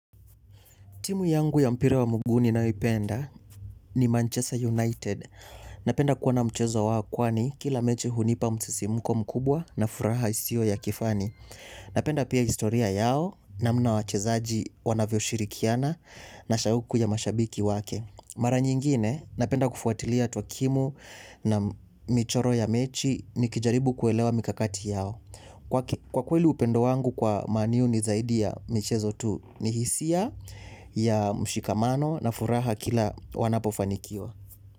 Timu yangu ya mpira wa muguu ni nayoipenda ni Manchester United. Napenda kuona mchezo wa kwani kila meche hunipa msisimko mkubwa na furaha isio ya kifani. Napenda pia historia yao namna wachezaji wanavyo shirikiana na shauku ya mashabiki wake. Mara nyingine napenda kufuatilia tuakimu na michoro ya mechi ni kijaribu kuelewa mikakati yao. Kwa kweli upendo wangu kwa manu ni zaidi ya michezo tu ni hisia ya mshikamano na furaha kila wanapofanikiwa.